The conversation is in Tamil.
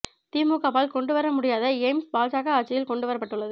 திமுகவால் கொண்டு வர முடியாத எய்ம்ஸ் பாஜக ஆட்சியில் கொண்டு வரப்பட்டுள்ளது